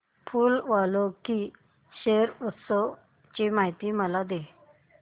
फूल वालों की सैर उत्सवाची मला माहिती दे